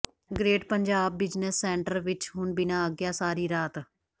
great Punjab Business Centre ਵਿੱਚ ਹੁਣ ਬਿਨ੍ਹਾਂ ਆਗਿਆ ਸਾਰੀ ਰਾਤ